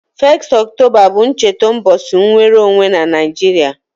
1st October bu ncheta ubochi nnwere onwe na Naijiria